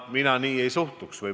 Mina nii ei suhtuks.